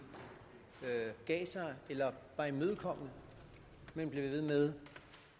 gav sig eller var imødekommende men blev ved med